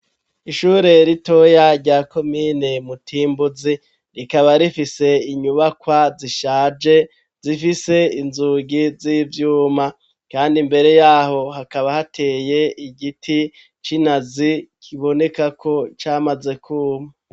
Ishure ritoya, rya komine Mutimbuzi, rikaba rifise, inyubakwa zishaje, zifise inzugi z'ivyuma; kandi mbere y'aho, hakaba hateye igiti c'inazi, kiboneka ko, camaze kwuma.